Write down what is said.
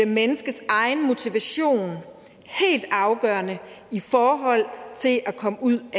menneskes egen motivation helt afgørende i forhold til at komme ud af